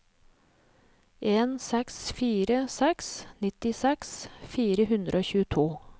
en seks fire seks nittiseks fire hundre og tjueto